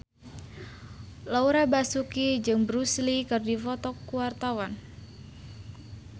Laura Basuki jeung Bruce Lee keur dipoto ku wartawan